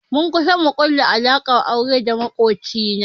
Mun kusa mu ƙulla alaƙar aure da maƙoci na